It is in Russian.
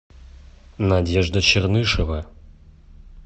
надежда чернышева